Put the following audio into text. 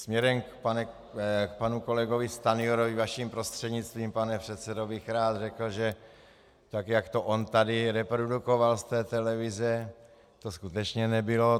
Směrem k panu kolegovi Stanjurovi vaším prostřednictvím, pane předsedo, bych rád řekl, že tak, jak to on tady reprodukoval z té televize, to skutečně nebylo.